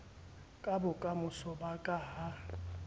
ka bokamoso ba ka ha